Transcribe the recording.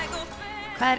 hvað er